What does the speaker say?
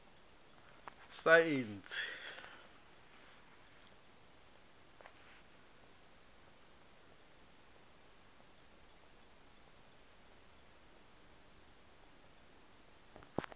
saentsi